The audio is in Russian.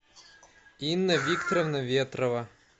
инна викторовна ветрова